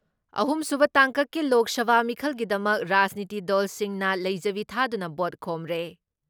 ꯑꯍꯨꯝꯁꯨꯕ ꯇꯥꯡꯀꯛꯀꯤ ꯂꯣꯛ ꯁꯚꯥ ꯃꯤꯈꯜꯒꯤꯗꯃꯛ ꯔꯥꯖꯅꯤꯇꯤ ꯗꯜꯁꯤꯡꯅ ꯂꯩꯖꯕꯤ ꯊꯥꯗꯨꯅ ꯚꯣꯠ ꯈꯣꯝꯔꯦ ꯫